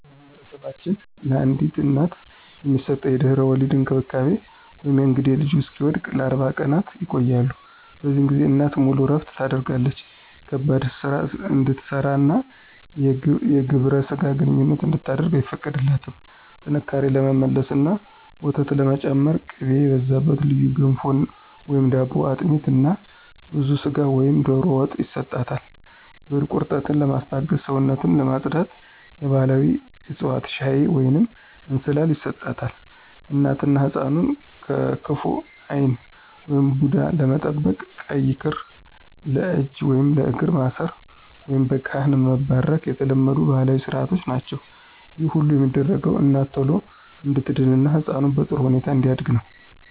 በማኅበረሰባችን ለአዲስ እናት የሚሰጠው የድህረ-ወሊድ እንክብካቤ (የእንግዴ ልጁ እስኪወድቅ) ለ40 ቀናት ይቆያል። በዚህ ጊዜ እናት ሙሉ እረፍት ታደርጋለች ከባድ ሥራ እንድትሠራና የግብረ ሥጋ ግንኙነት እንድታደርግ አይፈቀድላትም። ጥንካሬ ለመመለስና ወተት ለመጨመር ቅቤ የበዛበት ልዩ ገንፎ/ዳቦ፣ አጥሚት እና ብዙ ሥጋ ወይም ዶሮ ወጥ ይሰጣል። የሆድ ቁርጠትን ለማስታገስና ሰውነትን ለማፅዳት የባሕላዊ ዕፅዋት ሻይ ወይንም እንስላል ይሰጣታል። እናትና ሕፃኑን ከክፉ ዓይን (ቡዳ) ለመጠበቅ ቀይ ክር ለእጅ ወይም ለእግር ማሰር፣ ወይም በካህን መባረክ የተለመዱ ባሕላዊ ሥርዓቶች ናቸው። ይህ ሁሉ የሚደረገው እናት ቶሎ እንድትድንና ሕፃኑ በጥሩ ሁኔታ እንዲያድግ ነው።